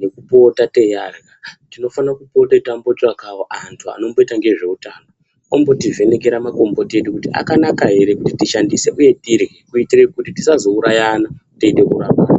nekupota teiarya tinofana kupote tambotsvakawo anhu anomboita ngezveutano ombotivhenekera makomboti edu kuti akanaka ere kuti tishandise uye tirye kuitire kuti tisazourayana teide kurapana.